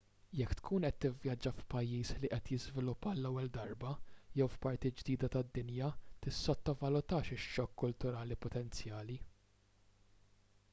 jekk tkun qed tivvjaġġa f'pajjiż li qed jiżviluppa għall-ewwel darba jew f'parti ġdida tad-dinja tissottovalutax ix-xokk kulturali potenzjali